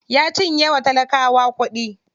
Ya cinye wa talakawa kuɗi.